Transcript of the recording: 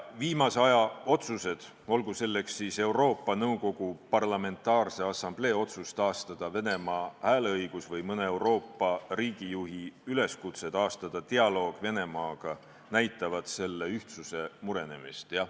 Viimase aja otsused, olgu selleks Euroopa Nõukogu Parlamentaarse Assamblee otsus taastada Venemaa hääleõigus või mõne Euroopa riigijuhi üleskutse taastada dialoog Venemaaga, näitavad selle ühtsuse murenemist.